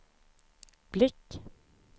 blick